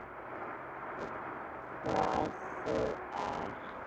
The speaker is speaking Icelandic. Hvað þú ert.